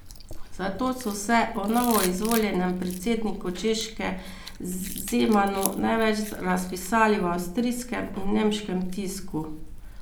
Zato so se o novoizvoljenem predsedniku Češke Zemanu največ razpisali v avstrijskem in nemškem tisku.